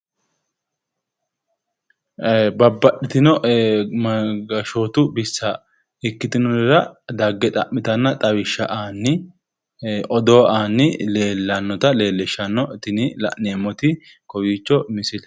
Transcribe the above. Babbaxxitino gashootu bissa ikkitinorira dagge xa'mitanna xawisha aanni odoo aanni leellannota leellishanno tini la'neemmoti kowiicho misile